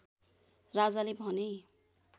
राजाले भने